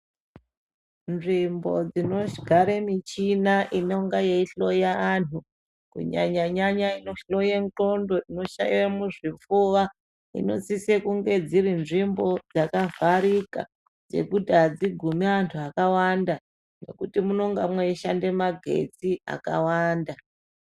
Nzvimbo dzinogare michina inonga yeihloya antu kunyanyanyanya inohloye ngqondo, inohloye zvipfuwa inosise kunge dziri nzvimbo dzakavharika, dzekuti hadzigumi antu akawanda ngekuti munenga mweishande magetsi akawanda.